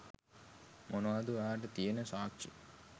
මොනවද ඔයාට තියෙන සාක්ෂි?